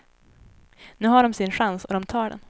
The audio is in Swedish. Nu har de sin chans och de tar den.